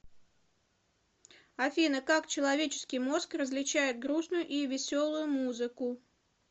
афина как человеческий мозг различает грустную и веселую музыку